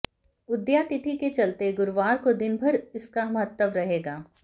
उदयातिथि के चलते गुरवार को दिनभर इसका महत्व रहेगा